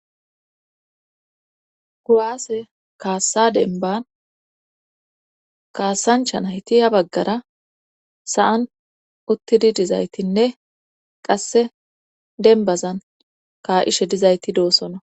kuwase kaassa demban kaasancha nayti ha baggara sa7an uttidi dizaytinne qasse denbazan ka7ishe dizayti doossona